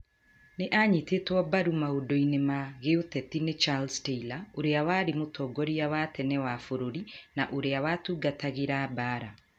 Nĩ anyitĩtwo mbaru maũndũ-inĩ ma gĩũteti nĩ Charles Taylor, ũrĩa warĩ mũtongoria wa tene wa bũrũri, na ũrĩa watungatagĩra mbaara.